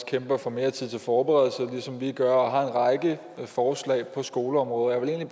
kæmper for mere tid til forberedelse ligesom vi gør og har en række forslag på skoleområdet og jeg vil